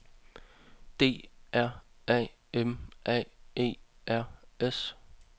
D R A M A E R S